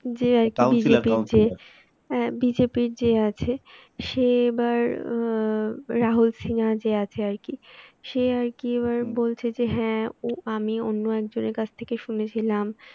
যে একজন বিজেপির যে বিজেপির যে আছে সে এবার অ্যাঁ রাহুল সিনহাযে আছে আর কি সে আর কি এবার বলছে যে হ্যাঁ আমি অন্য একজনের কাছ থেকে শুনেছিলাম